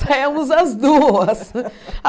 Saímos as duas.